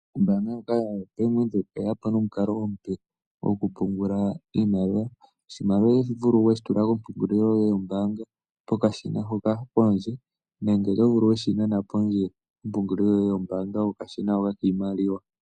Ombanga ndjoka yoBank Windhoek oyeya po nomukalo omupe goku pungula iimaliwa. Oshimaliwa oto vulu weyi tula kompungulilo yoye yombanga pokashina hoka pondje. Nenge oto vulu weshi nana poshe komapungulilo yombaanga yoye kokashina hoka pondje.